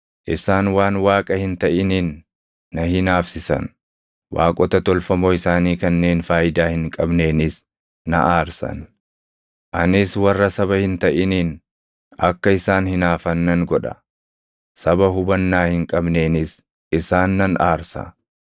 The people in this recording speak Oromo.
Isaan waan Waaqa hin taʼiniin na hinaafsisan; waaqota tolfamoo isaanii kanneen faayidaa hin qabneenis na aarsan. Anis warra saba hin taʼiniin akka isaan hinaafan nan godha; saba hubannaa hin qabneenis isaan nan aarsa.